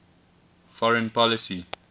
foreign policy